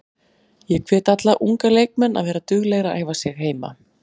Ég hvet alla unga leikmenn að vera duglegir að æfa sig heima.